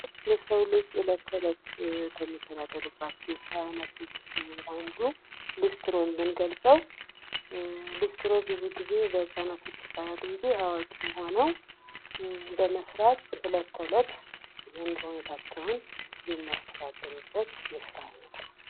የሰው ልጅ የለት ተለት ከሚተዳደሩባቸው የስራ አይነቶች አንዱ ሊስትሮ ብንገልጸው፤ ሊስትሮ ብዙ ጊዜ በሕፃናት ይባላል እንጂ አዋቂም ሆነው በመሥራት እለት ተእለት የኑሮ ሁኔታቸውን የሚያስተዳድሩበት የስራ አይነት ነው።